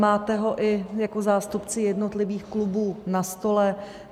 Máte ho i jako zástupci jednotlivých klubů na stole.